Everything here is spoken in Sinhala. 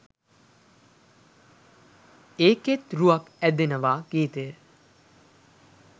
ඒකෙත් රුවක් ඇදෙනවා ගීතය